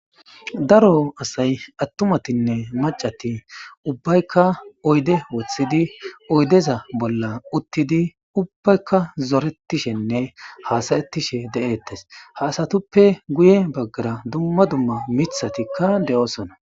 Daaro assay attumattinne maccati ubbayka oydde woththidi oyddeza bolla uttidi ubbayka zoretishenne hasa'etishe de'ettes ha asatuppe guyye baggara dumma dumma miththatika de'ossona.